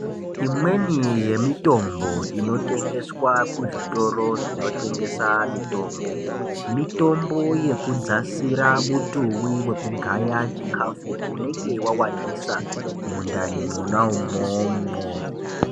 Imweni yemitombo inotengeswa kuzvitoro zvinotengesa mitombo, mitombo yekudzasira mutuwi wekugaya chikafu unenge wawandisa mundani monaumwomwo.